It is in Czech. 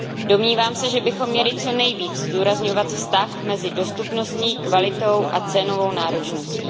Domnívám se, že bychom měli co nejvíc zdůrazňovat vztah mezi dostupností, kvalitou a cenovou náročností.